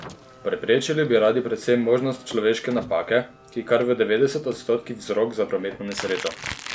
Preprečili bi radi predvsem možnost človeške napake, ki je kar v devetdesetih odstotkih vzrok za prometno nesrečo.